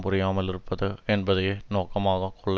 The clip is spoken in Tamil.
புரியாமல் இருப்பது என்பதையே நோக்கமாக கொள்ள